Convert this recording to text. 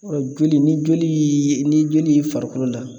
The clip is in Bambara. joli ni joli yee n'i joli y'i farikolo la